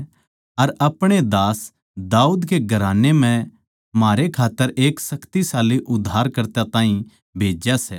अर अपणे दास दाऊद कै घराने म्ह म्हारै खात्तर एक शक्तिशाली उद्धारकर्ता ताहीं भेज्या सै